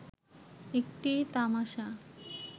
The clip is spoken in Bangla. একটি তামাশা